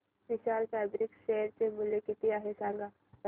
विशाल fabrics share चे मूल्य किती आहे सांगा बरं